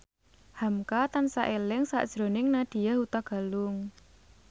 hamka tansah eling sakjroning Nadya Hutagalung